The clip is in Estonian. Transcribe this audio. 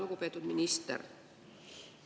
Lugupeetud minister!